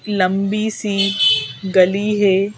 लंबी सी गली है।